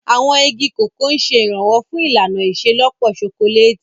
Àwọn igi Cocoa ń ṣe ìrànwọ́ fún ìlànà ìṣelọ́pọ̀ ṣokoléètì.